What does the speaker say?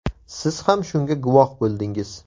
Siz ham shunga guvoh bo‘ldingiz.